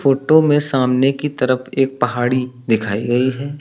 Photo में सामने की तरफ एक पहाड़ी दिखाई गई है।